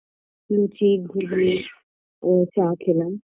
লুচি ঘুগনি ও চা খেলাম